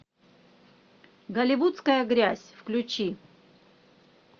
голливудская грязь включи